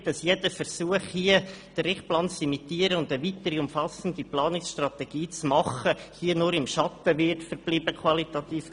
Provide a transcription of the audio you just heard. Wir haben die Befürchtung, dass jeder Versuch, hier den Richtplan zu imitieren und eine weitere umfassende Planungsstrategie zu machen, qualitativ gesehen im Schatten des Richtplans verbleiben wird.